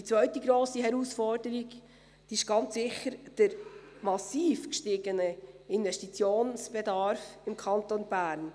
Die zweite grosse Herausforderung ist ganz sicher der massiv gestiegene Investitionsbedarf im Kanton Bern.